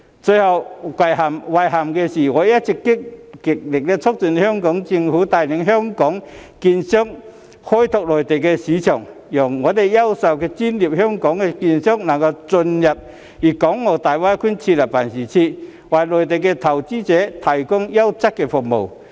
最令我遺憾的是，我一直極力促進香港政府帶領香港券商開拓內地市場，讓優秀專業的香港券商能進入大灣區設立辦事處，為內地投資者提供優質服務。